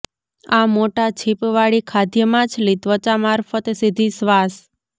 આ મોટા છીપવાળી ખાદ્ય માછલી ત્વચા મારફત સીધી શ્વાસ